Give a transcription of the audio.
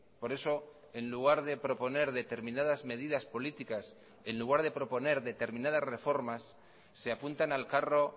por eso en lugar de proponer determinadas medidas políticas en lugar de proponer determinadas reformas se apuntan al carro